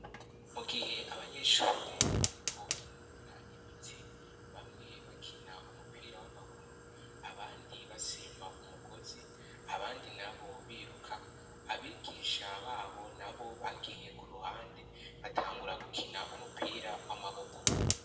Mu gihe abanyeshure bariko barinonora imitsi bamwe bakina umupira w'amaguru abandi basimba umugozi abandi na bo biruka abigisha babo na bo bagiye ku ruhande batangura gukina umupira w'amaboko.